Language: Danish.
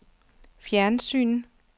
fjernsyn